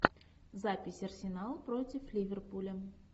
запись арсенал против ливерпуля